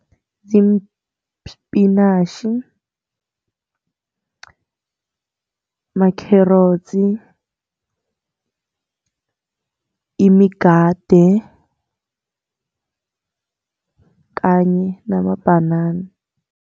Ziimpinatjhi, ama-carrots, imigade kanye namabhanana.